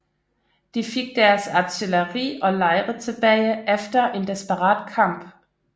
De fik deres artilleri og lejre tilbage efter en desperat kamp